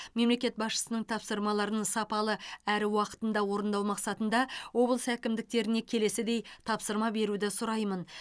мемлекет басшысының тапсырмаларын сапалы әрі уақытында орындау мақсатында облыс әкімдіктеріне келесідей тапсырма беруді сұраймын